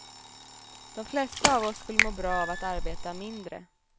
De flesta av oss skulle må bra av att arbeta mindre.